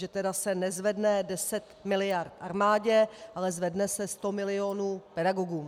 Že se tedy nezvedne 10 miliard armádě, ale zvedne se 100 milionů pedagogům.